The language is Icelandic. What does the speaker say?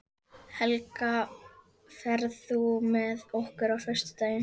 Helga, ferð þú með okkur á föstudaginn?